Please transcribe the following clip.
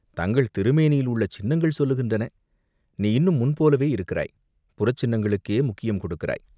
"தங்கள் திருமேனியில் உள்ள சின்னங்கள் சொல்லுகின்றன!" நீ இன்னும் முன்போலவே இருக்கிறாய் புறச்சின்னங்களுக்கே முக்கியம் கொடுக்கிறாய்!